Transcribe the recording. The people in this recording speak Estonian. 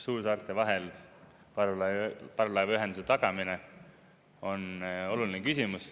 Suursaarte vahel parvlaevaühenduse tagamine on oluline küsimus.